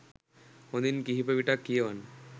හොඳින් කිහිප විටක් කියවන්න